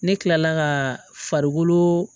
Ne kilala ka farikolo